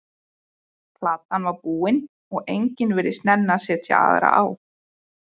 Platan var búin og enginn virtist nenna að setja aðra á.